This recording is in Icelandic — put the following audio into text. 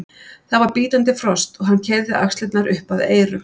Það var bítandi frost og hann keyrði axlirnar upp að eyrum.